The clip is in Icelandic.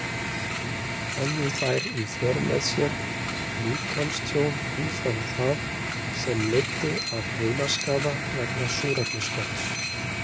Höfðu þær í för með sér líkamstjón umfram það, sem leiddi af heilaskaða vegna súrefnisskorts?